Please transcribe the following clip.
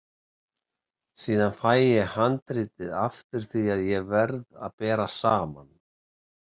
Síðan fæ ég handritið aftur því að ég verð að bera saman.